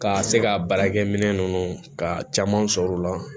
Ka se ka baarakɛminɛn ninnu ka caman sɔrɔ u la